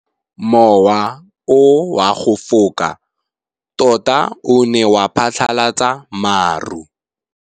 Mowa o wa go foka tota o ne wa phatlalatsa maru.